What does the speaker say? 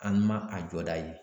An ma a jɔda ye